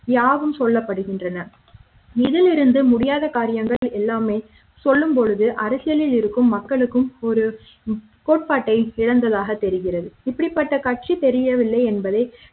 யாவும் சொல்லப்படுகின்றன இதிலிருந்து முடியாத காரியங்கள் எல்லாமே சொல்லும் பொழுது அருகில் இருக்கும் மக்களுக்கும் ஒரு கோட்பாட்டை இழந்ததாக தெரிகிறது இப்படிப்பட்ட கட்சி தெரியவில்லை என்பதை